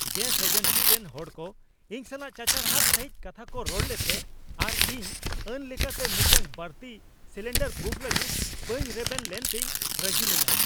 Gas agency ᱨᱮᱱ ᱦᱚᱲᱠᱚ ᱤᱧ ᱥᱟᱞᱟᱜ ᱪᱟᱪᱟᱨᱦᱟᱫ ᱥᱟᱹᱦᱤᱡ ᱠᱟᱛᱷᱟᱠᱚ ᱨᱚᱲ ᱞᱮᱫᱛᱮ ᱟᱨ ᱤᱧᱱ ᱟᱹᱱ ᱞᱮᱠᱟᱛᱮ ᱢᱤᱫᱴᱟᱝ ᱵᱟᱹᱲᱛᱤ ᱥᱤᱞᱤᱱᱰᱟᱨ ᱵᱩᱠ ᱞᱟᱹᱜᱤᱫ ᱵᱟᱹᱧ ᱨᱮᱵᱮᱱ ᱞᱮᱱᱛᱮᱧ ᱨᱟᱹᱜᱤ ᱞᱮᱱᱟ ᱾